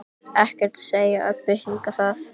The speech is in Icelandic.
Ekkert að segja Öbbu hinni það.